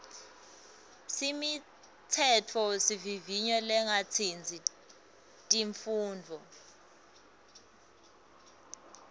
imitsetfosivivinyo lengatsintsi tifundza